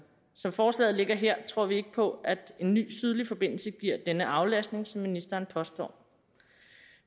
som forslaget ligger her tror vi ikke på at en ny sydlig forbindelse giver denne aflastning som ministeren påstår